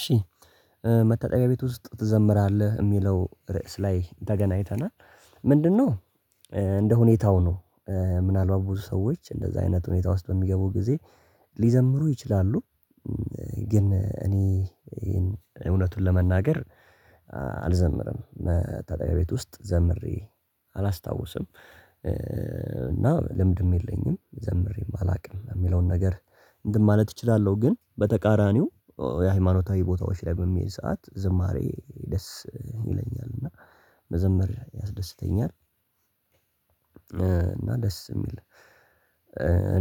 እሺ። መታጠቢያ ቤት ውስጥ ትዘምራለህ ሚለው ርዕስ ላይ ተገናኝተናል። ምንድነው? እንደ ሁኔታው ነው። ምናልባት ብዙ ሰዎች እንደዛ አይነት ሁኔታ ውስጥ በሚገቡ ጊዜ። ሊዘምሩ ይችላሉ። ግን እኔ እውነቱን ለመናገር አልዘምርም መታጠብያ ቤት ውስጥ ዘምሬ አላስታውስም። እና ልምድም የለኝም ዘምሬም አላቅም ሚለውን ነገር እንትን ማለት እችላለሁ። ግን በተቃራኒው የሃይማኖታዊ ቦታዎች ላይ በሚሄድ ሰዓት ዝማሬ ደስ ይለኛል እና መዘምር ያስደስተኛል። እና ደስ የሚል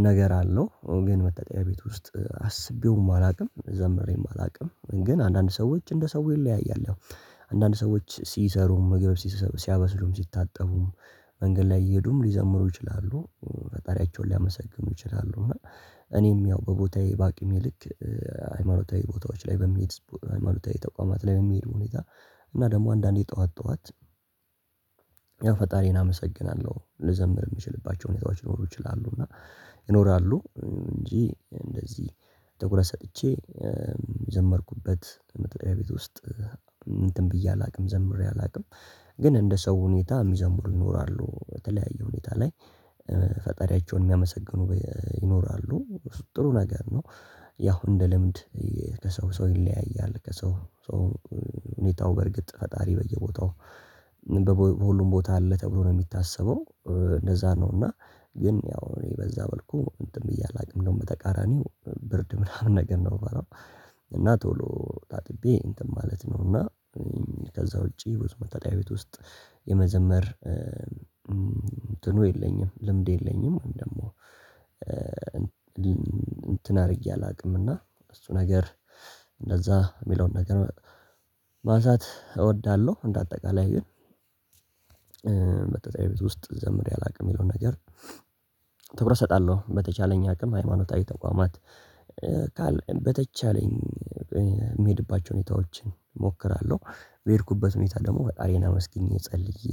ነገር አለው። ግን መታጠቢያ ቤት ውስጥ አስቤውም አላቅም ዘምሬም አላቅም ግን አንዳንድ ሰዎች እንደ ሰው ይለያያል። አንዳንድ ሰዎች ሲሰሩ ምግብ ሲያበስሉም ሲታጠቡም መንገድ ላይ እየሄዱም ሊዘምሩ ይችላሉ ፈጣሪያቸውን ሊያመሰግኑ ይችላሉ። እና እኔም ያው በቦታዬ ባቂም ይልክ ሃይማኖታዊ ቦታዎች ላይ በሚሄድ ሃይማኖታዊ ተቋማት ላይ በሚሄድ ሁኔታ። እና ደግሞ አንዳንዴ ጠዋት ጠዋት ያው ፈጣሪን አመሰግናለሁ ልዘምር የምችልባቸው ሁኔታዎች ሊኖሩ ይችላሉ። እና ይኖራሉ እንጂ እንደዚህ ትኩረት ሰጥቼ የዘመርኩበት መታጠብያ ቤት ውስጥ እንትን ብዬ አላቅም ዘምሬ አላቅም። ግን እንደ ሰው ሁኔታ ሚዘምሩ ይኖራሉ በተለያየ ሁኔታ ላይ ፈጣሪያቸውን ሚያመሰግኑ ይኖራሉ ጥሩ ነገር ነው። ያው እንደ ልምድ ከሰው ሰው ይለያያል ከሰው ሰው ሁኔታው በርግጥ ፈጣሪ በየቦታው ሁሉም ቦታ አለ ተብሎ ነው ሚታሰበው። እንደዛ ነው እና ግን ያው እኔ በዛ መልኩ እንትን ብዬ አላቅም እንደውም በተቃራኒው ብርድ ምናምን ነገር ነው ምፈራው። እና ቶሎ ታጥቤ እንትን ማለት ነው። እና ከዛ ውጪ ብዙ መታጠቢያ ቤት ውስጥ የመዘመር እንትኑ የለኝም ልምድ የለኝም። ደግሞ እንትን አርጌ አላቅምእና እሱ ነገር እንደዛ ሚለውን ነገር ማሳት እወዳለሁ። እንደ አጠቃላይ ግን መታጠብያ ቤት ውስጥ ዘምሬ አላቅም። ሚለውን ነገር ትኩረት እሰጣለሁ በተቻለኝ አቅም ሃይማኖታዊ ተቋማት። በተቻለኝ ሚሄድባቸውን ሁኔታዎችን እሞክራለሁ። በሄድኩበት ሁኔታ ደግሞ ፈጣሪየን አመስግኜ ጸልዬ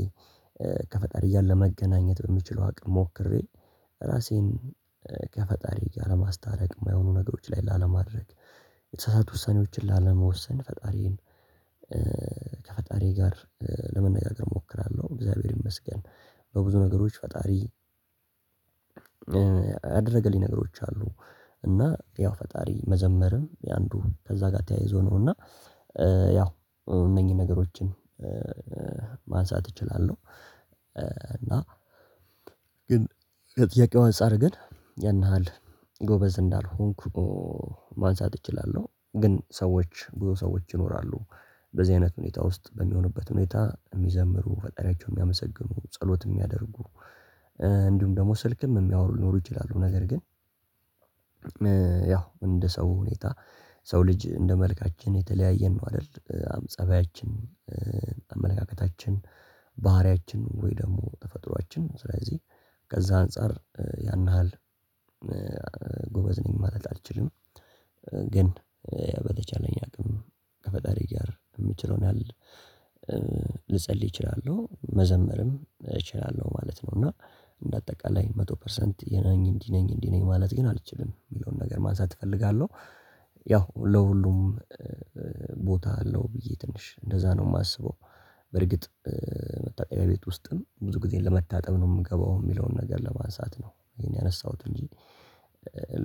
ከፈጣሪ እያለ ለመገናኘት በምችለው አቅም ሞክሬ። ራሴን ከፈጣሪ ጋ ለማስታረቅ የማይሆኑ ነገሮች ላይ ላለማድረግ የተሳሳተ ውሳኔዎችን ላለመወሰን ፈጣሪዬን ከፈጣሪ ጋር ለመነጋገር እሞክራለሁ። እግዚአብሔር ይመስገን በብዙ ነገሮች ፈጣሪ አደረገልኝ ነገሮች አሉ። እና ያው ፈጣሪ መዘመርም የአንዱ ከዛ ጋር ተያይዞ ነው እና ያው እነኚህን ነገሮችን ማንሳት እችላለሁ። እና ግን ከጥያቄው አንፃር ግን ያንሃል ያህል ጎበዝ እንዳልሆንኩ ማንሳት እችላለሁ ግን ሰዎች ቡዙ ሰዎች ይኖራሉ። በዚህ አይነት ሁኔታ ውስጥ በሚሆንበት ሁኔታ የሚዘምሩ ፈጣሪያቸው ሚያመሰግኑ ጸሎት ሚያደርጉ እንዲሁም ደግሞ ስልክም ሚያወሩ ሊኖሩ ይችላሉ። ነገር ግን ያው እንደ ሰው ሁኔታ ሰው ልጅ እንደ መልካችን የተለያየን ነው። አደል እ ጸባያችን አመለካከታችን ባህሪያችን ወይ ደግሞ ተፈጥሮአችን ስለዚህ ከዛ አንፃር ያን ያህል ጎበዝ ነኝ ማለት አልችልም። ግን በተቻለኝ አቅም ከፈጣሪ ጋር ምችለውን ያህል ልጸልይ እችላለሁ መዘመርም እችላለሁ ማለት ነው። እና እንደ አጠቃላይ መቶ ፐርሰንት የነኝ እንዲህ ነኝ እንዲህ ነኝ ማለት ግን አልችልም ሚለውን ነገር ማንሳት እፈልጋለሁ። ያው ለሁሉም ቦታ አለው ብዬ ትንሽ እንደዛ ነው ማስበው። በርግጥ መታጠብያ ቤት ውስጥም ብዙ ጊዜ ለመታጠብ ነው ምገባው ሚለውን ነገር ለማንሳት ነው ይሄን ያነሳሁት እንጂ።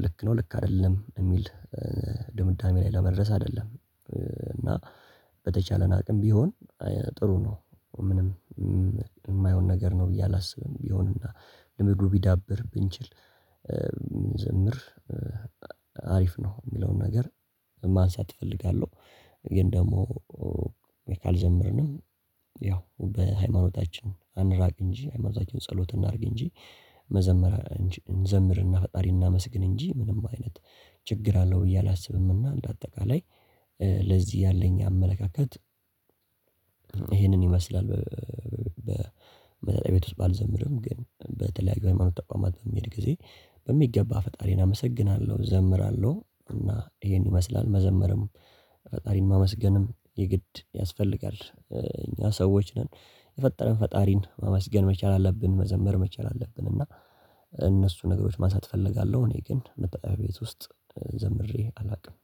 ልክ ነው ልክ አይደለም እሚል ድምዳሜ ላይ ለመድረስ አደለም። እና በተቻለን አቅም ቢሆን ጥሩ ነው ምንም ማይሆን ነገር ነው ብዬ አላስብም። ቢሆንና ልምዱ ቢዳብር ብንችል ዘምር አሪፍ ነው ሚለውን ነገር ማንሳት እፈልጋለሁ። ግን ደግሞ ካልዘመርንም ያው በሃይማኖታችን አንራቅ እንጂ ሃይማኖታችን ጸሎት እናርግ እንጂ መዘመር እንዝምርና ፈጣሪ እናመስግን እንጂ ምንም አይነት ችግር አለው ብዬ አላስብምና። እንደ አጠቃላይ ለዚህ ያለኝ አመለካከት ይሄንን ይመስላል። በመታጠብያ ቤት ውስጥ ባልዘምርም ግን በተለያየ ሃይማኖት ተቋማት በሚሄድ ጊዜ በሚገባ ፈጣሪን አመሰግናለሁ እዘምራለሁ። እና ይሄን ይመስላል መዘመርም ፈጣሪን ማመስገንም የግድ ያስፈልጋል እኛ ሰዎች ነን። የፈጠረን ፈጣሪን ማመስገን መቻል አለብን መዘመር መቻል አለብን። እና እነሱ ነገሮች ማንሳት እፈልጋለሁ እኔ ግን መታጠብያ ቤት ውስጥ ዘምሬ አላውቅም